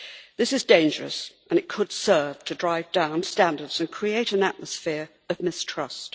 This is dangerous and it could serve to drive down standards and create an atmosphere of mistrust.